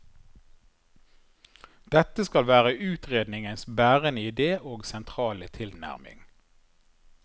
Dette skal være utredningens bærende idé og sentrale tilnærming.